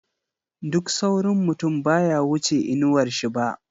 Duk saurin mutum baya wuce inawar shi ba.